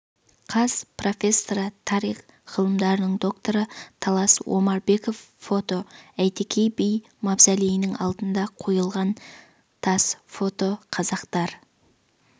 қаз профессоры тарих ғылымдарының докторы талас омарбеков фото әйтеке би мавзолейінің алдына қойылған тас фото қазақтар